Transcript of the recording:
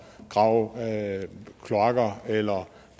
grave kloakker eller